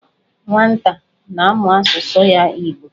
Nwata a na-amu asusu ya, Igbo